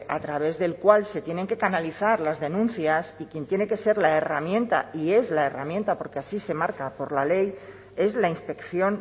a través del cual se tienen que canalizar las denuncias y quien tiene que ser la herramienta y es la herramienta porque así se marca por la ley es la inspección